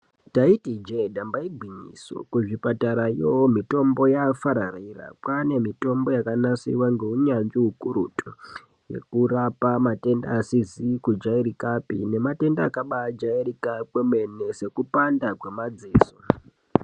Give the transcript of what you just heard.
Taiti ijee ,damba igwinyiso. Kuzvipatarayo mitombo yaafararira. Kwaane mitombo yakanasirwa ngeunyanzvi ukurutu, yekurapa matenda asizi kujairikapi nematenda akabaajairika kwemene, sekupanda kwemadziso.